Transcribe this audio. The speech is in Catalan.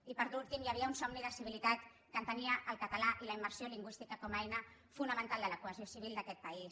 i per últim hi havia un somni de civilitat que entenia el català i la immersió lingüística com a eines fonamentals de la cohesió civil d’aquest país